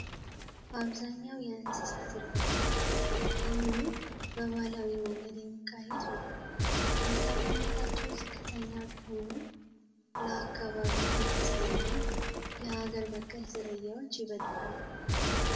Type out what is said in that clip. አብዛኛው የእንሰሳት እርባታ አሁንም በባህላዊ መንገድ የሚካሄድ ነው። ምርታማነታቸው ዝቅተኛ ቢሆንም ለአካባቢው የተስማሙ ሀገር በቀል ዝርያዎች በይበልጥ አሉ።